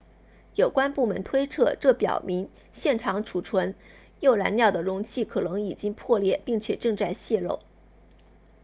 有关部门推测这表明现场储存铀燃料的容器可能已经破裂并且正在泄漏